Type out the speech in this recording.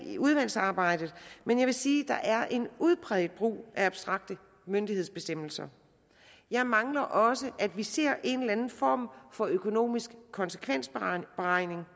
i udvalgsarbejdet men jeg vil sige at der er en udpræget brug af abstrakte myndighedsbestemmelser jeg mangler også at vi ser en eller anden form for økonomisk konsekvensberegning